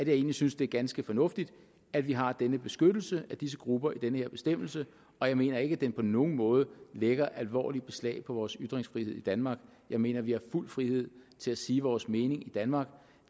egentlig synes det er ganske fornuftigt at vi har denne beskyttelse af disse grupper i denne bestemmelse og jeg mener ikke at den på nogen måde lægger alvorligt beslag på vores ytringsfrihed i danmark jeg mener vi har fuld frihed til at sige vores mening i danmark